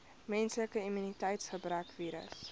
menslike immuniteitsgebrekvirus